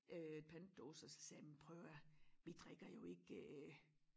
Øh pantdåser så sagde jeg jamen prøv at hør her vi drikker jo ikke øh